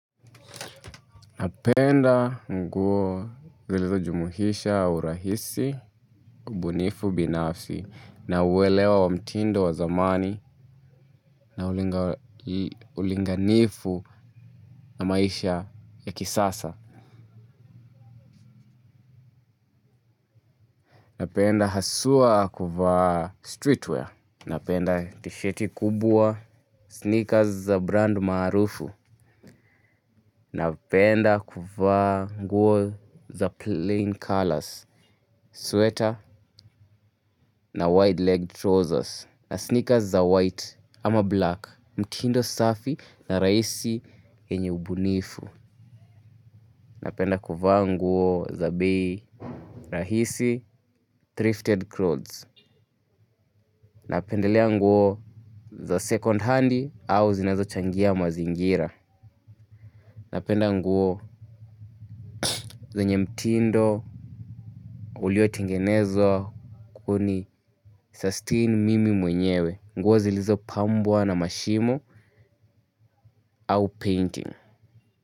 Napenda nguo zilizojumuisha urahisi, ubunifu binafsi, na uelewa wa mtindo wa zamani, na ulinganifu na maisha ya kisasa. Napenda hasua kuvaa streetwear, napenda tisheti kubwa, sneakers za brand maarufu. Napenda kuvaa nguo za plain colours, sweater na wide-legged trousers na sneakers za white ama black, mtindo safi na rahisi enye ubunifu. Napenda kuva nguo za bei, rahisi thrifted clothes. Napendelea nguo za second hand au zinazo changia mazingira. Napenda nguo zenye mtindo ulio tengenezwa kuni sustain mimi mwenyewe nguo zilizo pambwa na mashimo au painting.